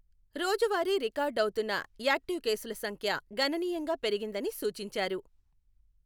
రోజు వారీ రికార్డ్ అవుతున్న యాక్టీవ్ కేసుల సంఖ్య గణనీయంగా పెరిగిందని సూచించారు.